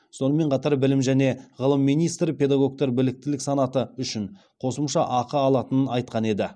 сонымен қатар білім және ғылым министрі педагогтар біліктілік санаты үшін қосымша ақы алатынын айтқан еді